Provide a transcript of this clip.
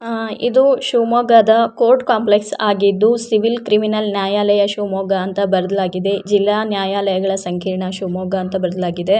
ಇದು ಶಿವಮೊಗ್ಗದ court complex ಆಗಿದ್ದು ಸಿವಿಲ್ ಕ್ರಿಮಿನಲ್ ನ್ಯಾಯಾಲಯ ಇಂದು ಬರೆಯಲಾಗಿದೆ ಜಿಲ್ಲಾ ನ್ಯಾಯಾಲಯ ಸಂಕೀರ್ಣ ಶಿವಮೊಗ್ಗ ಅಂತ ಬರೆಯಲಾಗಿದೆ